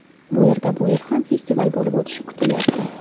Bu yerda bu yil ham festival bo‘lib o‘tishi kutilyapti.